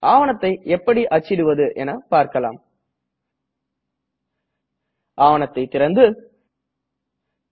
ஆவணத்தை எப்படி அச்சிடுவது என பார்க்கலாம் ஆவணத்தை திறக்கலாம்